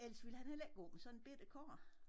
Ellers ville han heller ikke gå med sådan en bette kurv